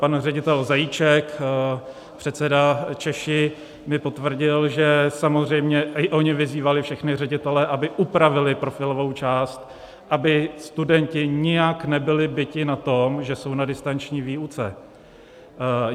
Pan ředitel Zajíček, předseda CZESHA, mi potvrdil, že samozřejmě i oni vyzývali všechny ředitele, aby upravili profilovou část, aby studenti nijak nebyli biti na tom, že jsou na distanční výuce.